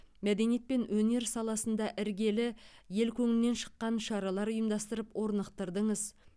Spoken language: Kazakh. мәдениет пен өнер саласында іргелі ел көңілінен шыққан шаралар ұйымдастырып орнықтырдыңыз